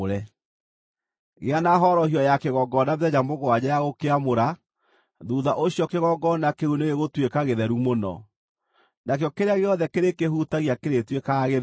Gĩa na horohio ya kĩgongona mĩthenya mũgwanja ya gũkĩamũra. Thuutha ũcio kĩgongona kĩu nĩgĩgũtuĩka gĩtheru mũno, nakĩo kĩrĩa gĩothe kĩrĩkĩhutagia kĩrĩtuĩkaga gĩtheru.